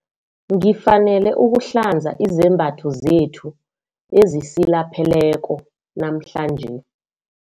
Ngifanele ukuhlanza izembatho zethu ezisilapheleko namhlanje.